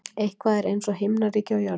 Eitthvað er eins og himnaríki á jörðu